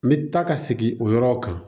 N bɛ taa ka segin o yɔrɔw kan